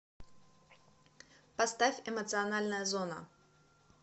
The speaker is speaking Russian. поставь эмоциональная зона